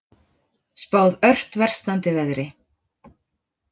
Spáð ört versnandi veðri